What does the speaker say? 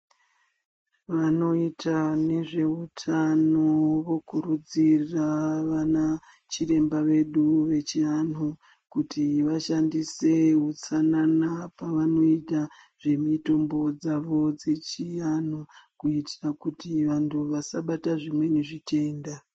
Vanoita nezveutano vokurudzira vanachiremba vedu vechiantu kutivashandise utsanana, pavanoita zvemitombo dzavo dzechiantu, kuitira kuti antu asabata zvimweni zvitenda.